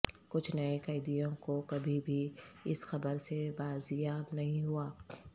کچھ نئے قیدیوں کو کبھی بھی اس خبر سے بازیاب نہیں ہوا